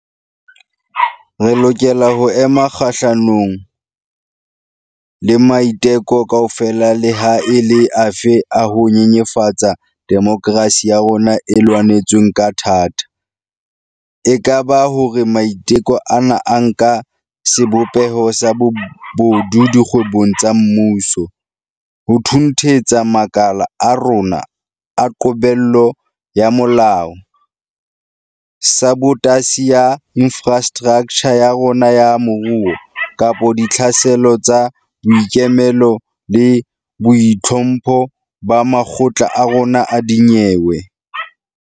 Re lokela ho ema kgahlanong le maiteko kaofela leha e le afe a ho nyenyefatsa demokerasi ya rona e lwanetsweng ka thata - e ka ba hore maiteko ana a nka sebopeho sa bobodu dikgwebong tsa mmuso, ho thunthetsa makala a rona a qobello ya molao, sabotasi ya infrastraktjha ya rona ya moruo, kapa ditlhaselo tsa boikemelo le boitlhompho ba makgotla a rona a dinyewe.